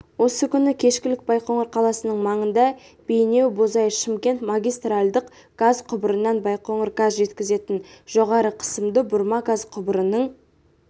осы күні кешкілік байқоңыр қаласының маңында бейнеу-бозой-шымкент магистральдық газ құбырынан байқоңыр газ жеткізетін жоғары қысымды бұрма газ құбырының